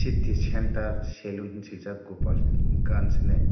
city center salon henui sujak gopan ranch henui.